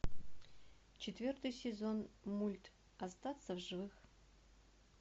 четвертый сезон мульт остаться в живых